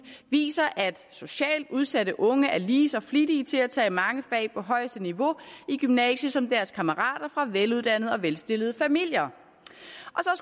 viser at socialt udsatte unge er lige så flittige til at tage mange fag på højeste niveau i gymnasiet som deres kammerater fra veluddannede og velstillede familier